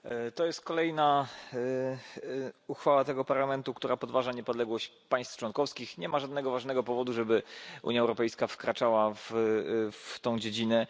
To jest kolejna uchwała tego Parlamentu, która podważa niepodległość państw członkowskich. Nie ma żadnego ważnego powodu, żeby Unia Europejska wkraczała w tę dziedzinę.